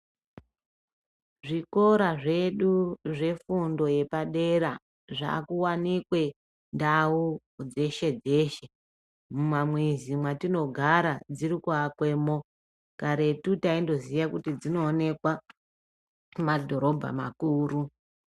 Zvikora zvedu zvefundo yepadera zvakuwanikwe ndau dzeshe dzeshe mumamizi mwatinogara dzirikuakwemo karetu taingoziya kuti dzinoonekwa mumadhorobha makuru.